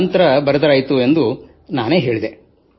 ನಂತರ ಬರೆದರಾಯಿತು ಎಂದು ನಾನು ಹೇಳಿದೆ